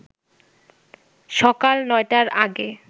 সকাল ৯টার আগে